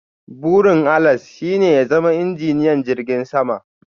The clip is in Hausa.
Burin Alex's shine ya zama injiniyan jirgin sama.